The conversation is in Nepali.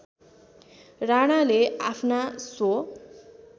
राणाले आफ्ना स्व